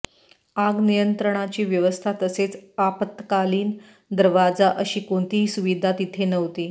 आग नियंत्रणाची व्यवस्था तसेच आपत्कालीन दरवाजा अशी कोणतीही सुविधा तिथे नव्हती